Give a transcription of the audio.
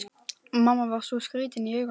Mamma var svo skrýtin í augunum.